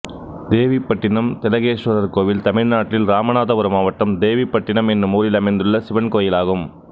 தேவிப்பட்டிணம் திலகேஸ்வரர் கோயில் தமிழ்நாட்டில் இராமநாதபுரம் மாவட்டம் தேவிபட்டினம் என்னும் ஊரில் அமைந்துள்ள சிவன் கோயிலாகும்